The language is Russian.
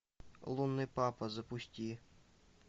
лунный папа запусти